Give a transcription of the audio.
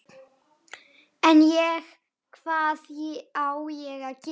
En, ég, hvað á ég að gera?